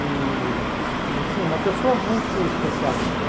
E e assim, uma pessoa muito especial mesmo.